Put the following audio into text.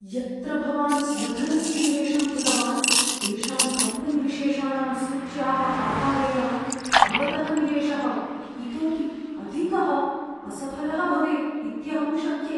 यत्र भवान् स्वधनस्य निवेशं कृतवान्, तेषां कम्पनीविशेषाणां सूच्याः आधारेण, भवतः निवेशः इतोपि अधिकः असफलः भवेत् इत्यहं शङ्के।